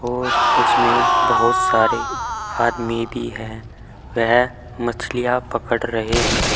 और उसमें बहोत सारे आदमी भी हैं वह मछलियाँ पकड़ रहे हैं।